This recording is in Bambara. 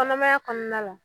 Kɔnɔmaya kɔɔna la